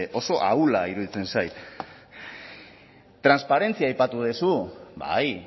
oso ahula iruditzen zait transparentzia aipatu duzu bai